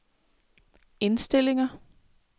indstillinger